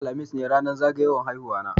Yau, alhamis, ne ranar zagayan haihuwa na